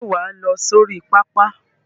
Ṣé wà á lọ sí orí pápá?